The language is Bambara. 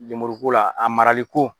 Lemuru ko la ,a marali ko.